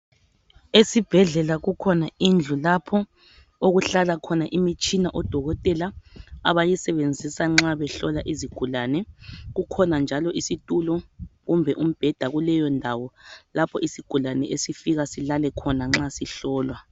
Esibhedlela kukhona indlu lapho okuhlala khona imitshina odokotela abayisebenzisa nxa behlola izigulane. Kukhona njalo isitulo, kumbe umbheda kuleyondawo, lapho isigulane, esifika silale khona nxa sihlolwa.